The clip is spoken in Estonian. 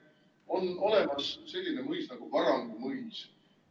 On olemas selline mõis nagu Varangu mõis.